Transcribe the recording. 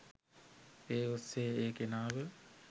ඒ ඔස්සේ ඒ කෙනාව